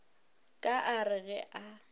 ka a re ge a